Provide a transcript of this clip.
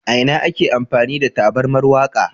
A ina ake amfani da tabarmar wanka?